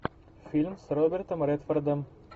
фильм с робертом редфордом